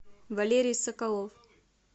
валерий соколов